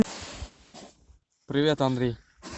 привет андрей